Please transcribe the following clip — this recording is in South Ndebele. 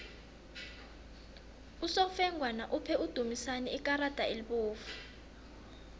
usofengwana uphe udumisani ikarada elibovu